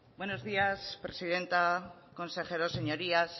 buenos días presidenta consejeros señorías